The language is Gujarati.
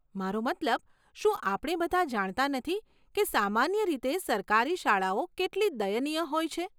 મારો મતલબ, શું આપણે બધા જાણતા નથી કે સામાન્ય રીતે સરકારી શાળાઓ કેટલી દયનીય હોય છે?